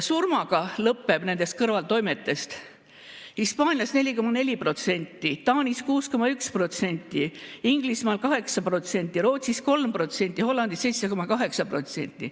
Surmaga lõpeb nendest kõrvaltoimetest Hispaanias 4,4%, Taanis 6,1%, Inglismaal 8%, Rootsis 3%, Hollandis 7,8%.